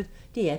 DR P1